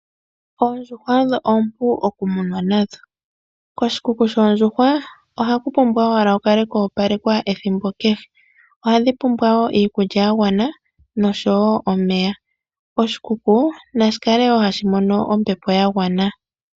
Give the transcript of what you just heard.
Oondjuhwa odho oompu okumunwa, koshikuku shoondjuhwa ohaku pumbwa owala kukale koopalekwa ethimbo kehe, ohadhi pumbwa woo omeya gagwana oshowo iikulya yagwana, oshikuku nashi kale woo kuna ombepo yagwana.